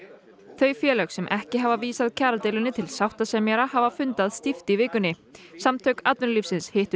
þau félög sem ekki hafa vísað kjaradeilunni til sáttasemjara hafa fundað stíft í vikunni samtök atvinnulífsins hittu